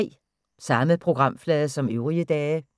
Samme programflade som øvrige dage